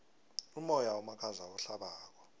umoya omakhaza ohlabako